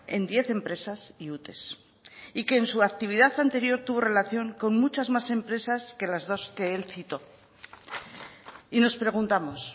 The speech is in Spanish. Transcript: en diez empresas y ute y que en su actividad anterior tuvo relación con muchas más empresas que las dos que él citó y nos preguntamos